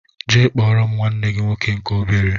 Jee kpọrọ m nwanne gị nwoke nke obere!!!